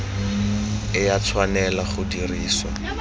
e a tshwanela go dirisiwa